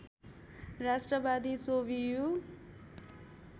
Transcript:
राष्ट्रवादी स्ववियु